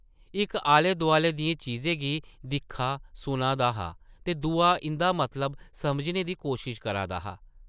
इक आले-दोआले दियें चीज़ें गी दिक्खा-सुना दा हा ते दूआ इंʼदा मतलब समझने दी कोशश करा करदा हा ।